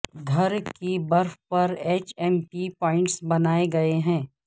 گھر کی برف پر ایچ ایم پی پوائنٹس بنائے گئے ہیں